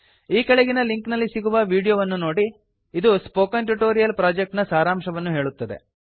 ಈ ಕೆಳಗಿನ ಲಿಂಕ್ ನಲ್ಲಿ ಸಿಗುವ ವಿಡೀಯೋ ವನ್ನು ನೋಡಿ ಇದು ಸ್ಪೋಕನ್ ಟ್ಯುಟೋರಿಯಲ್ ಪ್ರಾಜೆಕ್ಟ್ ನ ಸಾರಾಂಶವನ್ನು ಹೇಳುತ್ತದೆ